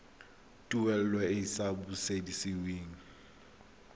tuelo e e sa busediweng